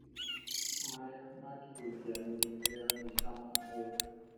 marĩa mangĩhutia mĩthiĩre ya maica ma mũndũ.